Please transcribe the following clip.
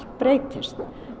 breytist